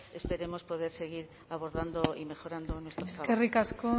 esperemos poder seguir abordando y mejorando nuestros eskerrik asko